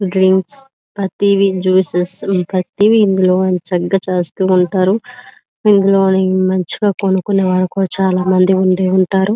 Drinks ప్రతీది Jesus ప్రతిదీ ఇందులో చక్కగా చేస్తూ ఉంటారు ఇందులోనే మంచిగా కొనుక్కునే వాడు కూడా చాలా మంది ఉండి ఉంటారు. .>